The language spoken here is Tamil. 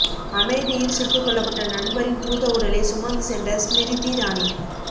அமேதியில் சுட்டுகொல்லப்பட்ட நண்பரின் பூத உடலை சுமந்து சென்ற ஸ்மிரிதி இராணி